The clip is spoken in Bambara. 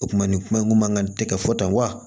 O kuma nin kuma in kun man kan tɛ kɛ fɔ tan wa